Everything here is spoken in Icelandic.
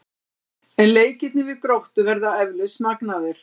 En leikirnir við Gróttu verða eflaust magnaðir.